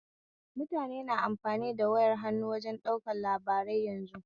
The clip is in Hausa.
Mutane na amfani da wayar hannu wajen ɗaukan labarai yanzu